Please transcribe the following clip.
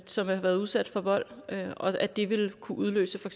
som har været udsat for vold og at det ville kunne udløse for